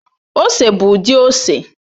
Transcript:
Ose bụ ụdị ose